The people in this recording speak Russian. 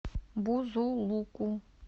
бузулуку